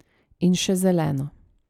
In še zeleno.